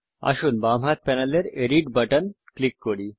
আসুন বাম হাত প্যানেলের এডিট বাটন টিপি